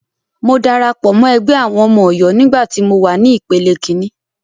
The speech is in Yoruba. Mo darapọ̀ mọ́ ẹgbẹ́ àwọn ọmọ Ọ̀yọ́ nígbà tí mọ wà ní ìpele kíní.